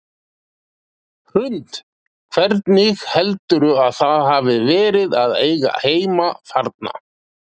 Hrund: Hvernig heldurðu að það hafi verið að eiga heima þarna?